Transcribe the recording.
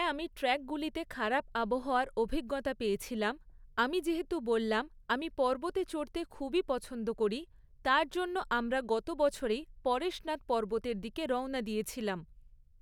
হ্যাঁ আমি ট্র্যাকগুলিতে খারাপ আবহাওয়ার অভিজ্ঞতা পেয়েছিলাম, আমি যেহেতু বললাম , আমি পর্বতে চড়তে খুবই পছন্দ করি, তার জন্য আমরা গত বছরেই পরেশনাথ পর্বতের দিকে রওনা দিয়েছিলাম।